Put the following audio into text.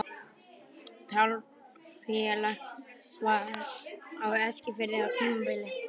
Taflfélag var á Eskifirði á tímabili.